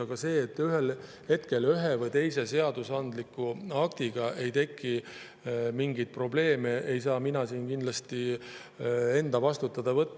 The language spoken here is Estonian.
Aga seda, et ühe või teise seadusandliku aktiga ei teki mingeid probleeme, ei saa mina kindlasti enda vastutusele võtta.